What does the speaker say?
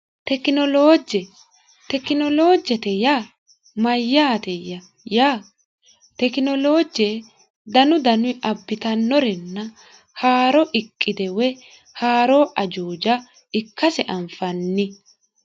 tekinoloojje tekinoloojjete ya mayyaateya ya tekinoloojje danu danu abbitannorenna haaro iqide woy haaroo ajuuja ikkase anfanni